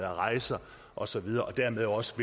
rejser og så videre og dermed også